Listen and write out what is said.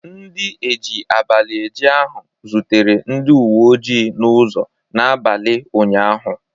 Ndi eji abalị eje ahụ zutere ndị uwe oji n'ụzọ n'abalị ụnyaahụ